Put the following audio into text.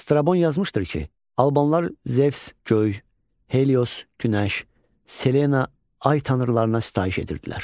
Strabon yazmışdır ki, albanlar Zevs, göy, Helios, günəş, Selena, ay tanrılarına sitayiş edirdilər.